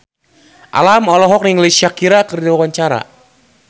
Alam olohok ningali Shakira keur diwawancara